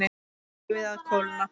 Leyfið að kólna.